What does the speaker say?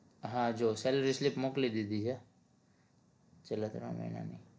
હા જો salary slip મોકલી દીધી છે છેલ્લા ત્રણ મહિનાની